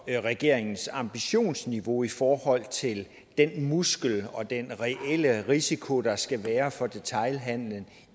regeringens ambitionsniveau i forhold til den muskel og den reelle risiko der skal være for detailhandelen